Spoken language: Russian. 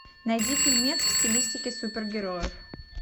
найди фильмец в стилистике супергероев